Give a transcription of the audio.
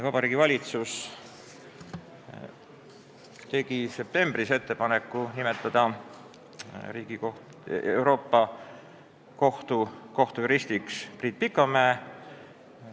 Vabariigi Valitsus tegi septembris ettepaneku nimetada Euroopa Kohtu kohtujuristiks Priit Pikamäe.